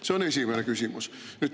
See on esimene küsimus.